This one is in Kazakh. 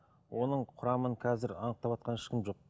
оның құрамын қазір анықтаватқан ешкім жоқ